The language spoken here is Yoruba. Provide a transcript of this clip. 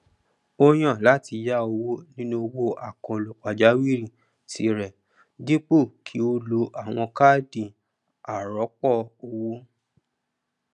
ó yàn láti yá owó nínú owó àkànlò pàjáwìrì tí rẹ dípò kí ó ló àwọn káàdì arọpọ owó